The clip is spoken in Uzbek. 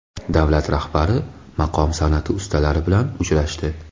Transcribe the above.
Davlat rahbari maqom san’ati ustalari bilan uchrashdi.